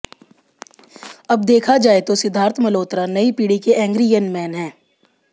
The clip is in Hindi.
अब देखा जाए तो सिद्धार्थ मल्होत्रा नई पीढ़ी के एंग्री यंग मैन हैं